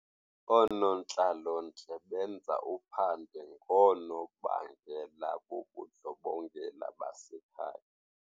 Oonontlalontle benza uphando ngoonobangela bobundlobongela basekhaya.